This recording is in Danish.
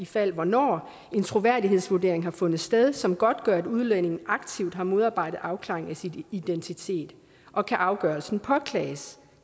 fald hvornår en troværdighedsvurdering har fundet sted som godtgør at udlændingen aktivt har modarbejdet afklaring af sin identitet og kan afgørelsen påklages